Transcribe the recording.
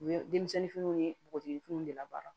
U ye denmisɛnninw ye npogotigininw de la baara